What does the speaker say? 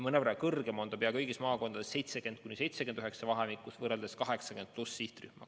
See näitaja on pea kõigis maakondades vanuse 70–79 vahemikus mõnevõrra kõrgem võrreldes 80+ sihtrühmaga.